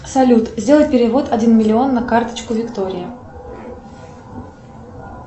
салют сделай перевод один миллион на карточку виктории